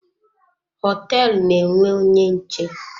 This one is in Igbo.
Hoteelu na-enwe onye nche.